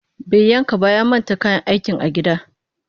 Bai yanka ba ya manta kayan aikin a gida